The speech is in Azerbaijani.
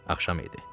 Axşam idi.